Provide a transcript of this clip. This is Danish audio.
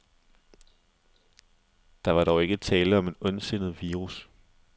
Der var dog ikke tale om en ondsindet virus.